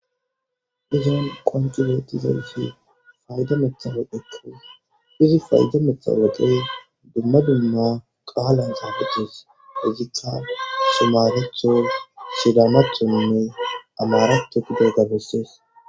Izan qonci betizaysi fayda matawoqa izi fayda matawoqay dumma dumma qalan xafetes hesatika sumaletho sidamathonne amaratho gidoga beses